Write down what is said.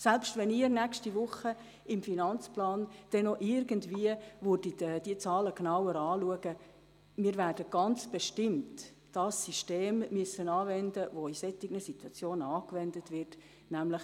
Selbst wenn Sie nächste Woche im Finanzplan die Zahlen noch etwas genauer prüfen würden, müssen wir ganz bestimmt dasjenige System anwenden, das in solchen Situationen angewendet wird, nämlich: